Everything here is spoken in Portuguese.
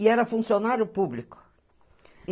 E era funcionário público.